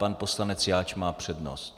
Pan poslanec Jáč má přednost.